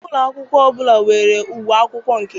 Ụlọ akwụkwọ ọbụla nwere uwe akwụkwọ nke ha.